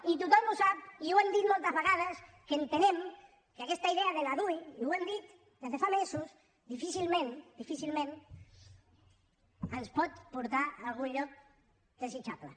i tothom ho sap i ho hem dit moltes vegades que entenem que aquesta idea de la dui i ho hem dit des de fa mesos difícilment difícilment ens pot portar a algun lloc desitjable